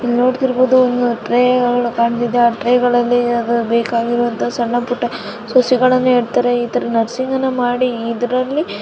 ಇಲ್ಲಿ ನೋಡುತ್ತಿರಬಹುದು ಟ್ರೇ ಗಳು ಕಾಣ್ತೀವಿ ಆ ಟ್ರೇ ಗಳಲ್ಲಿ ಬೇಕಾಗಿರುವಂತಹ ಸಣ್ಣ-ಪುಟ್ಟ ಸಸಿಗಳನ್ನು ನೇಡುತ್ತಾರೆ. ಇತರ ನರ್ಸಿಂಗ್ ಅನ್ನು ಮಾಡಿ ಇದರಲ್ಲಿ--